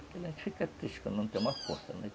A gente fica triste quando não tem uma força, né?